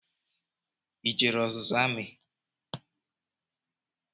I jere ọzụzụ amị?